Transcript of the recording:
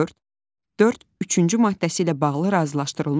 Dörd, dörd üçüncü maddəsi ilə bağlı razılaşdırılmış bəyanat.